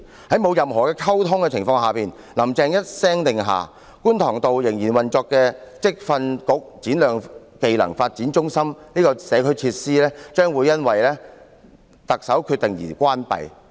在沒有任何溝通的情況下，"林鄭"一聲令下，觀塘道仍然運作的職業訓練局展亮技能發展中心這項社區設施，將會因為特首的決定而關閉。